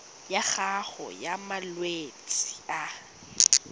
ya gago ya malwetse a